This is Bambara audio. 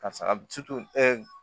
Karisa ɛ